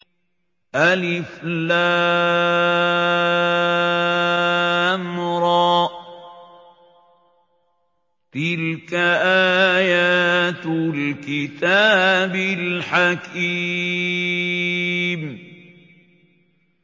الر ۚ تِلْكَ آيَاتُ الْكِتَابِ الْحَكِيمِ